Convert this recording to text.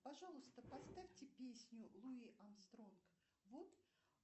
пожалуйста поставьте песню луи армстронг вот